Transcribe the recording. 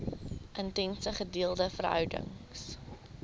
intense gedeelde verhouding